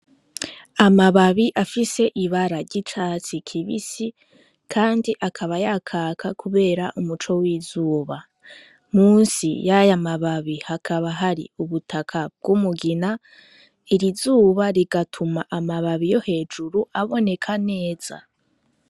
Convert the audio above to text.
Amababi afise ibara ry'icatsi kibisi kandi akaba yakaka kubera umuco w'izuba, musi yaya mababi hakaba hari ubutaka bw'umugina, iri zuba rigatuma aya mababi yo hejuru aboneka neza.